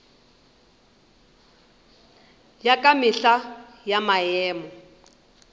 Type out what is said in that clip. ya ka mehla ya maemo